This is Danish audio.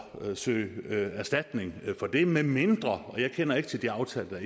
søge erstatning for det medmindre og jeg kender ikke til de aftaler